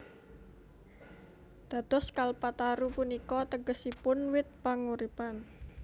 Dados Kalpataru punika tegesipun wit panguripan